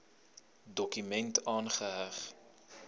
dokument aangeheg